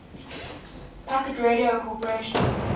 packet radio corporation